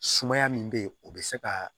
Sumaya min bɛ yen o bɛ se ka